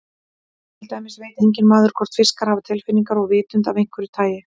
Til dæmis veit enginn maður hvort fiskar hafa tilfinningar og vitund af einhverju tagi.